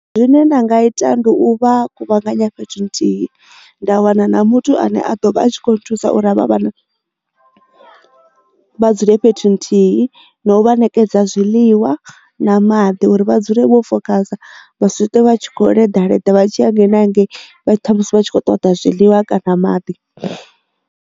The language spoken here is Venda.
Zwine nda nga ita ndi u vha kuvhanganya fhethu nthihi nda wana na muthu ane a ḓo vha a tshi kho thusa uri havha vhana vha dzule fhethu nthihi na u vha ṋekedza zwiḽiwa na maḓi uri vha dzule vho fokhasa vha sitwe vha tshi kho ḽi leḓa leḓa vha tshiya hangei na hangei vha tsha musi vha tshi kho ṱoḓa zwiḽiwa kana maḓi.